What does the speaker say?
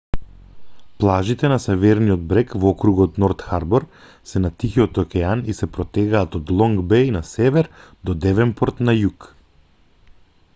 плажите на северниот брег во округот норт харбор се на тихиот океан и се протегаат од лонг беј на север до девенпорт на југ